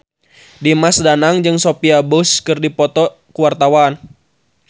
Dimas Danang jeung Sophia Bush keur dipoto ku wartawan